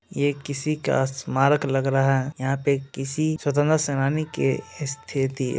ये किसी का स्मारक लग रहा है यहां पे किसी स्वतंत्रता सेनानी के --